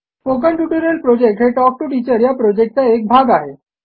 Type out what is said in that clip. spoken tutorial project हे talk to teacher या प्रॉजेक्टचा एक भाग आहे